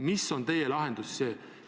Mis on teie lahendus?